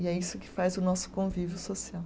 E é isso que faz o nosso convívio social.